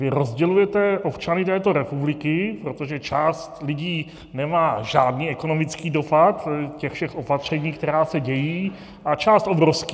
Vy rozdělujete občany této republiky, protože část lidí nemá žádný ekonomický dopad těch všech opatření, která se dějí, a část obrovský.